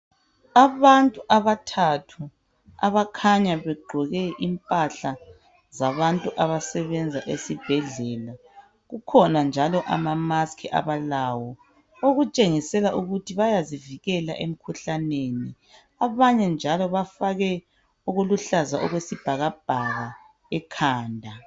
Abantu abathathu abakhanya begqoke impahla zabantu abasebenza esibhedlela. Kukhona njalo ama maski abalawo okutshengisela ukuthi bayazivikela emikhuhlaneni abanye njalo bafake okuluhlaza okwesibhakabhaka ekhanda